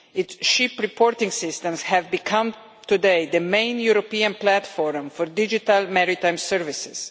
Its ship reporting systems have become today the main European platform for digital maritime services.